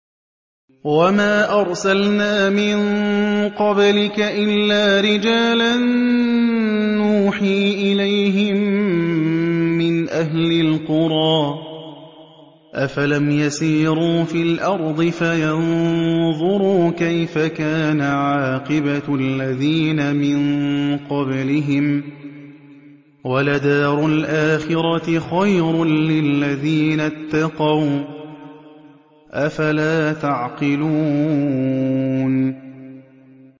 وَمَا أَرْسَلْنَا مِن قَبْلِكَ إِلَّا رِجَالًا نُّوحِي إِلَيْهِم مِّنْ أَهْلِ الْقُرَىٰ ۗ أَفَلَمْ يَسِيرُوا فِي الْأَرْضِ فَيَنظُرُوا كَيْفَ كَانَ عَاقِبَةُ الَّذِينَ مِن قَبْلِهِمْ ۗ وَلَدَارُ الْآخِرَةِ خَيْرٌ لِّلَّذِينَ اتَّقَوْا ۗ أَفَلَا تَعْقِلُونَ